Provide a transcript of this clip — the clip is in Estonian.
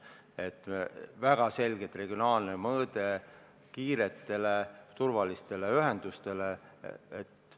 Kiirete ja turvaliste ühenduste puhul on väga selge regionaalne mõõde.